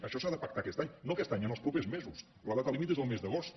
això s’ha de pactar aquest any no aquest any en els propers mesos la data límit és el mes d’agost